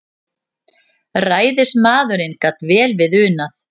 Ræðismaðurinn gat vel við unað.